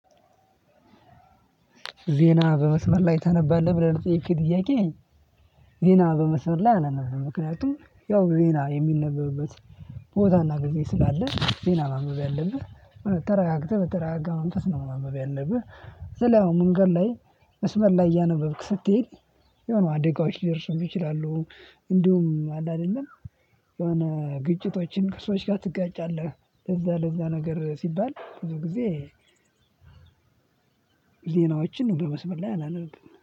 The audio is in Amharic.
ዜና በመስመር ላይ ታነባለህ ብለህ ለጠየቅከኝ ጥያቄ? ዜና በመስመር ላይ አላነብም። ምክንያቱም ያው ዜና የሚነበብበት ቦታና ጊዜ ስላለ ዜና ማንበብ ያለብህ ተረጋግተህ በተረጋጋ መንፈስ ነው ያለብህ። ስልህ አሁን መንገድ ላይ መስመር ላይ እያነበብክ ስትሄድ የሆኑ አደጋዎች ሊደርሱብህ ይችላሉ። እንዲሁም አለ አይደለም። የሆነ ግጭቶችን ከሰዎች ጋር ትጋጫለህ። ለእዛ ለእዛ ነገር ሲባል ብዙ ጊዜ። እቺን ነገር መስመር ላይ አላነብ